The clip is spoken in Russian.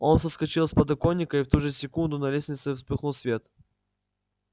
он соскочил с подоконника и в ту же секунду на лестнице вспыхнул свет